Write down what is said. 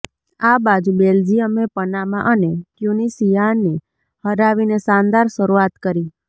આ બાજુ બેલ્જિયમે પનામા અને ટયૂનિશિયાને હરાવીને શાનદાર શરૂઆત કરી